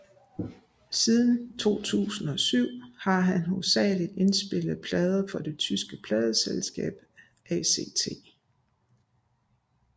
Siden 2007 har han hovedsageligt indspillet plader for det tyske pladeselskab ACT